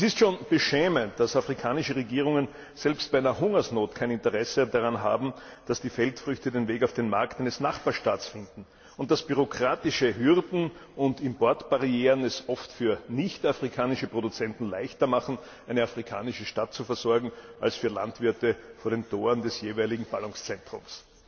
Es ist schon beschämend, dass afrikanische Regierungen selbst bei einer Hungersnot kein Interesse daran haben, dass die Feldfrüchte den Weg auf den Markt eines Nachbarstaats finden und dass bürokratische Hürden und Importbarrieren es oft für nichtafrikanische Produzenten leichter machen, eine afrikanische Stadt zu versorgen als Landwirte vor den Toren des jeweiligen Ballungszentrums.